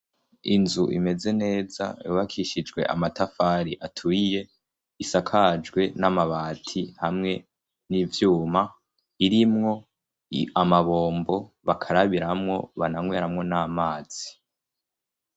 inzu imeze neza yubakishijwe amatafari aturiye isakajwe n'amabati hamwe n'ivyuma irimwo amabombo bakarabiramo bananyweramo n'amazi